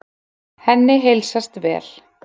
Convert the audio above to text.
Henni heilsast vel.